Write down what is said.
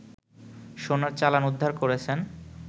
সোনার চালান উদ্ধার করেছেন